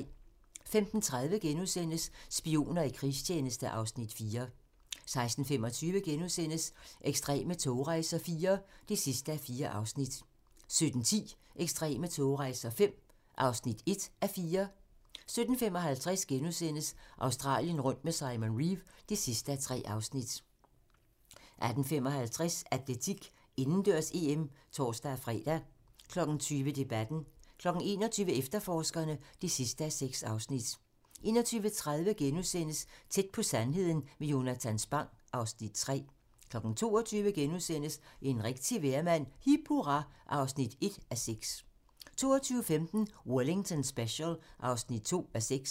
15:30: Spioner i krigstjeneste (Afs. 4)* 16:25: Ekstreme togrejser IV (4:4)* 17:10: Ekstreme togrejser V (1:4) 17:55: Australien rundt med Simon Reeve (3:3)* 18:55: Atletik: Indendørs-EM (tor-fre) 20:00: Debatten 21:00: Efterforskerne (6:6) 21:30: Tæt på sandheden med Jonatan Spang (Afs. 3)* 22:00: En rigtig vejrmand - Hip hurra (1:6)* 22:15: Wellington Special (2:6)